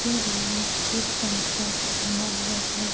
यह रूम में एक पंखा टंगा हुआ है।